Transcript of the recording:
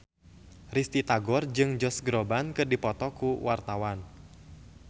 Risty Tagor jeung Josh Groban keur dipoto ku wartawan